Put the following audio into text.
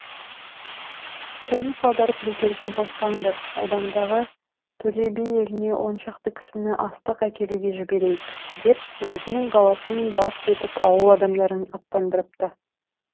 қоныс аударып бекерге боспаңдар одандағы төле би еліне оншақты кісіні астық әкелуге жіберейік деп өзінің баласын бас етіп ауыл адамдарын аттандырыпты